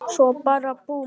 Svo bara búmm.